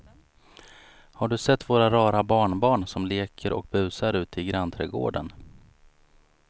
Har du sett våra rara barnbarn som leker och busar ute i grannträdgården!